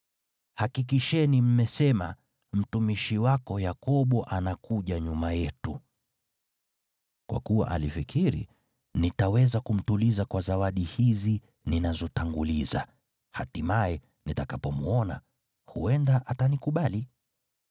Hakikisheni mmesema, ‘Mtumishi wako Yakobo anakuja nyuma yetu.’ ” Kwa kuwa alifikiri, “Nitaweza kumtuliza kwa zawadi hizi ninazotanguliza, hatimaye, nitakapomwona, huenda atanikubali.”